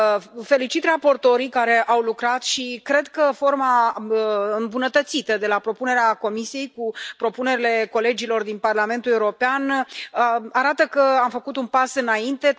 Îi felicit pe raportorii care au lucrat și cred că forma îmbunătățită, de la propunerea Comisiei, cu propunerile colegilor din Parlamentul European, arată că am făcut un pas înainte.